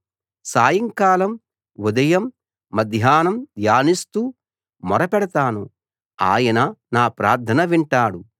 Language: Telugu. సాయంకాలం ఉదయం మధ్యాహ్నం ధ్యానిస్తూ మొరపెడతాను ఆయన నా ప్రార్థన వింటాడు